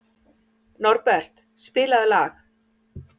Norbert, spilaðu lag.